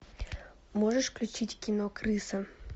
можешь включить кино крыса